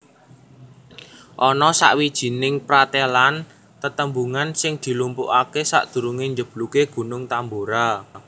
Ana sawijining pratélan tetembungan sing dilumpukaké sadurungé njeblugé Gunung Tambora